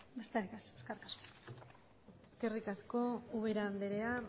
besterik ez eskerrik asko eskerrik asko ubera andrea